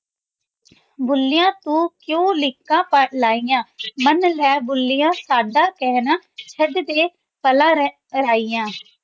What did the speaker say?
ਦੁਨੀਆਂ ਕਿਉਂ ਚੜ੍ਹਨ ਲੱਗੀ ਜਾਂ ਕਹੋ ਮੇਡ ਸਦਾ?